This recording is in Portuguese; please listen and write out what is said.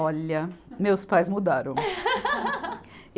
Olha, meus pais mudaram.